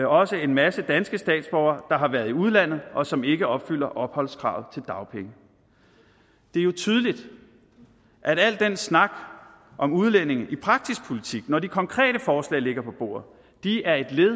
også en masse danske statsborgere der har været i udlandet og som ikke opfylder opholdskravet til dagpenge det er jo tydeligt at al den snak om udlændinge i praktisk politik når de konkrete forslag ligger på bordet er et